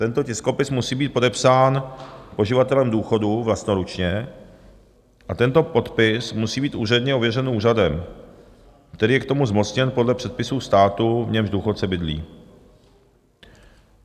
Tento tiskopis musí být podepsán poživatelem důchodu vlastnoručně a tento podpis musí být úředně ověřen úřadem, který je k tomu zmocněn podle předpisů státu, v němž důchodce bydlí.